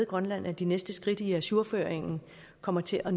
grønland at de næste skridt i ajourføringen kommer til at